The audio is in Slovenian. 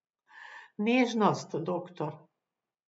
Nežnost, doktor.